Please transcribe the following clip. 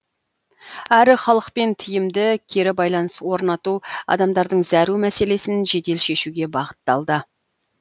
әрі халықпен тиімді кері байланыс орнату адамдардың зәру мәселесін жедел шешуге бағытталды